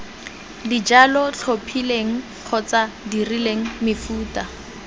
dijalo tlhophileng kgotsa dirileng mefuta